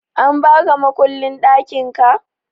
An baka mukullin ɗakinka?